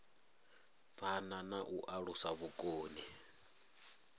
phana na u alusa vhukoni